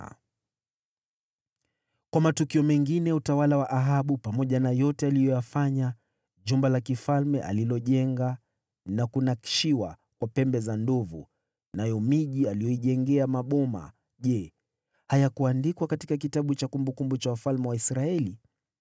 Kwa matukio mengine ya utawala wa Ahabu, pamoja na yote aliyoyafanya, jumba la kifalme alilojenga na kupambwa kwa pembe za ndovu, nayo miji aliyoijengea maboma, je, hayakuandikwa katika kitabu cha kumbukumbu za wafalme wa Israeli?